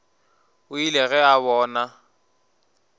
o ile ge a bona